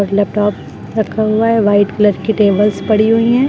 Laptop रखा हुआ है वाइट कलर की टेबल्स पड़ी हुई हैं।